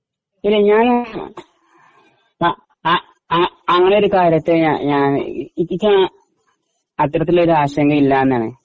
ഇല്ല. അങ്ങനെ ഒരു കാര്യത്തെ അത്തരത്തിലൊരാശങ്ക ഇല്ല എന്നാണ്